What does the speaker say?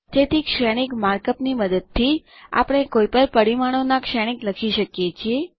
તેથી શ્રેણીક માર્કઅપની મદદથી આપણે કોઈપણ પરિમાણોના શ્રેણીક લખી શકીએ છીએ